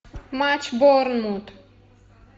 матч борнмут